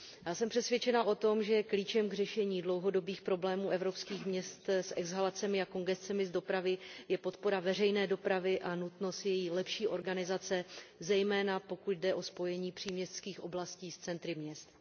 Jsem přesvědčena o tom, že klíčem k řešení dlouhodobých problémů evropských měst s exhalacemi a kongescemi z dopravy je podpora veřejné dopravy a nutnost její lepší organizace, zejména pokud jde o spojení příměstských oblastí s centry měst.